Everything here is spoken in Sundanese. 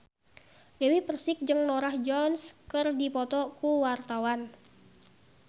Dewi Persik jeung Norah Jones keur dipoto ku wartawan